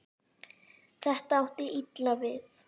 Þetta átti illa við